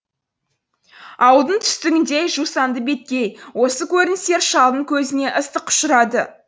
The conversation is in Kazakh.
ауылдың түстігіндегі жусанды беткей осы көріністер шалдың көзіне ыстық ұшырады